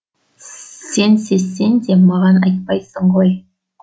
сен сезсең де маған айтпайсың ғой